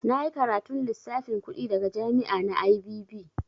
Na yi karatun lissafin kuɗi daga jami'a na IBB.